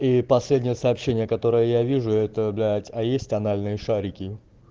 и последнее сообщение которое я вижу это блять а есть анальные шарики